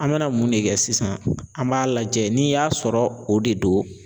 An bɛna mun de kɛ sisan an b'a lajɛ n'i y'a sɔrɔ o de do.